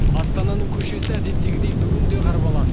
астананың көшесі әдеттегідей бүгін де қарбалас